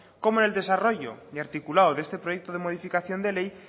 como en el desarrollo y articulado de este proyecto de modificación de ley